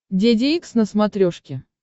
деде икс на смотрешке